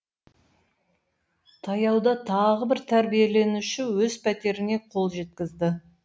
таяуда тағы бір тәрбиеленуші өз пәтеріне қол жеткізді